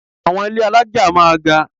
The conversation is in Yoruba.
Àwọn ilé alájà máa ga.